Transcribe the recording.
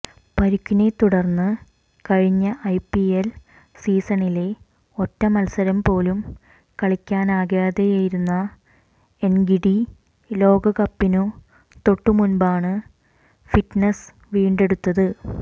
പരുക്കിനെത്തുടർന്ന് കഴിഞ്ഞ ഐപിഎഎൽ സീസണിലെ ഒറ്റ മത്സരം പോലും കളിക്കാനാകാതെയിരുന്ന എൻഗിഡി ലോകകപ്പിനു തൊട്ടുമുൻപാണ് ഫിറ്റ്നെസ് വീണ്ടെടുത്തത്